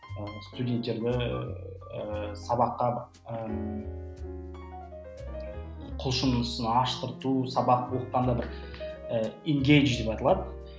студенттерді ііі сабаққа і құлшынысын аштырту сабақты оқытқанда бір деп аталады